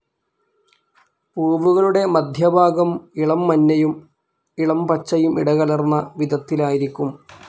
പൂവുകളുടെ മധ്യഭാഗം ഇളം മഞ്ഞയും ഇളം പച്ചയും ഇടകലർന്ന വിധത്തിലായിരിക്കും.